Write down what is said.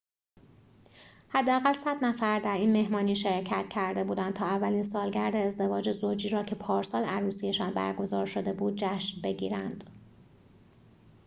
حداقل ۱۰۰ نفر در این مهمانی شرکت کرده بودند تا اولین سالگرد ازدواج زوجی را که پارسال عروسی‌شان برگزار شده بود جشن بگیرند